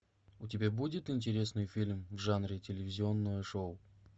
у тебя будет интересный фильм в жанре телевизионное шоу